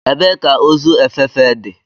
Ebee ka ozu efefe dị?